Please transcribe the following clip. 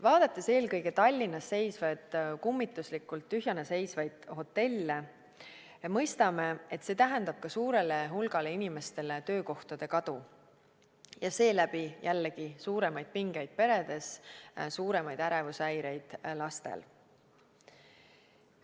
Vaadates eelkõige Tallinnas kummituslikult tühjana seisvaid hotelle, mõistame, et see tähendab ka suurele hulgale inimestele töökohtade kadu ja seeläbi jällegi suuremaid pingeid peredes, suuremaid ärevushäireid lastel.